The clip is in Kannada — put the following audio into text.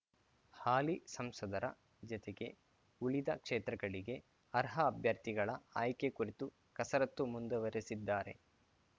ಹಾಲಿ ಸಂಸದರ ಜತೆಗೆ ಉಳಿದ ಕ್ಷೇತ್ರಗಳಿಗೆ ಅರ್ಹ ಅಭ್ಯರ್ಥಿಗಳ ಆಯ್ಕೆ ಕುರಿತು ಕಸರತ್ತು ಮುಂದುವರೆಸಿದ್ದಾರೆ